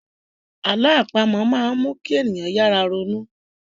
Àlọ́ àpamọ máa n mu kí ènìyàn yára ronú